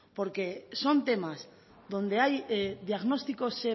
porque son temas donde hay diagnósticos